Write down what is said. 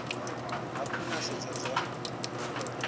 hafhu na sedza zwa u